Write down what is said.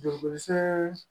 Jurukosɛ